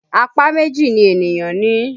Apá méjì ni ènìyàn ní